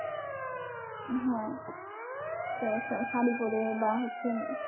হ্যাঁ সবাই সবাই শাড়ি পরে বা হচ্ছে